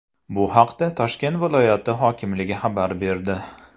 Bu haqda Toshkent viloyati hokimligi xabar berdi .